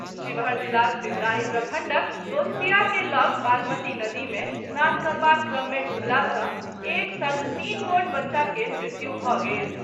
शिवहर जिलाक पिपराही प्रखंडक दोस्तिया के लऽग बागमती नदी में स्नान करबाक क्रम मे डूबला सॅ एक संग तीन गोट बच्चा के मृत्यु भऽ गेल।